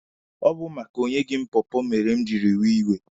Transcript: Ọ bụ maka na o nyeghị m pọọpọọ mere m jiri wee iwe.